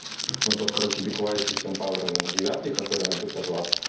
ну тот короче би куайт систем пауэр девятый который на пятьсот ватт